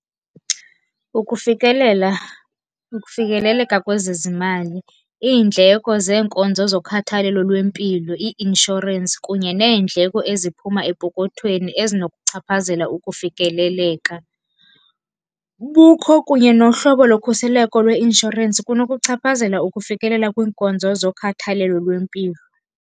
Ukufikelela, ukufikeleleka kwezezimali iindleko zenkonzo zokhathalelo lwempilo, i-inshorensi kunye neendleko eziphuma epokothweni ezinokuchaphazela ukufikeleleka. Bukho kunye nohlobo lokhuseleko lweinshorensi kunokuchaphazela ukufikelela kwiinkonzo zokhathalelo lwempilo.